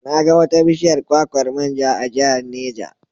Na ga wata bishiyar kwakwar man ja a Jihar Neja.